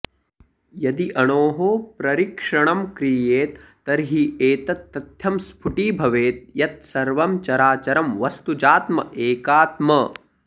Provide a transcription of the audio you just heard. यदि अणोः प्ररीक्षणं क्रियेत तर्हि एतत् तथ्यं स्फुटीभवेत् यत् सर्वं चराचरं वस्तुजात्म् एकात्म